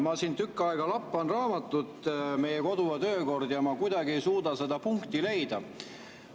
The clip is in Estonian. Ma siin tükk aega lappan raamatut, meie kodu- ja töökorda, aga ma kuidagi ei suuda seda punkti leida.